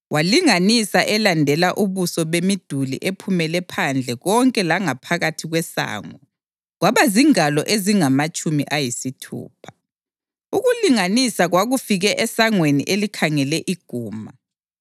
Walinganisa elandela ubuso bemiduli ephumele phandle konke langaphakathi kwesango kwaba zingalo ezingamatshumi ayisithupha. Ukulinganisa kwakufike esangweni elikhangele iguma.